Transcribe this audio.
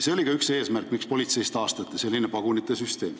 See oli üks eesmärk, miks politseis taastati pagunite süsteem.